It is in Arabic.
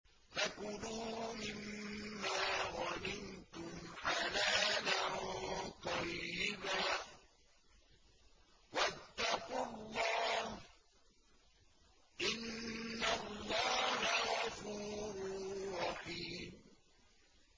فَكُلُوا مِمَّا غَنِمْتُمْ حَلَالًا طَيِّبًا ۚ وَاتَّقُوا اللَّهَ ۚ إِنَّ اللَّهَ غَفُورٌ رَّحِيمٌ